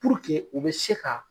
Puruke u bɛ se ka